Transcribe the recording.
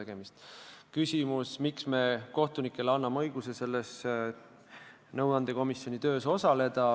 Miks me anname kohtunikele õiguse selle nõuandekomisjoni töös osaleda?